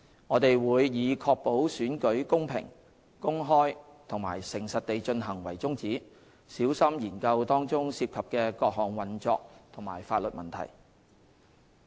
我們會以確保選舉公平、公開和誠實地進行為宗旨，小心研究當中涉及的各項運作及法律問題。